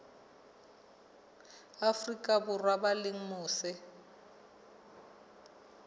afrika borwa ba leng mose